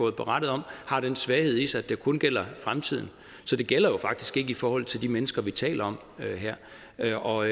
er berettet om har den svaghed ved sig at det kun gælder fremtiden så det gælder jo faktisk ikke i forhold til de mennesker vi taler om her og